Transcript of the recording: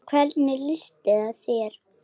Og hvernig lýsti það sér?